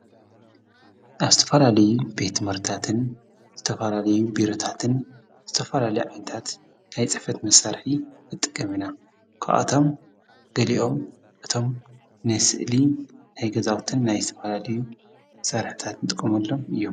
ኣብስተፋላልዩ ቤት መርታትን ዝተፈላልዩ ቢሩታትን ዝተፈላል ዓንታት ኣይጸፈት መሣርሒ እጥቀምና ኳኣቶም ገሊኦም እቶም ኔስእሊ ኣይገዛውትን ናይ ኣስትፋላልዩ መሠራህታት ንጥቆምሎም እዮም።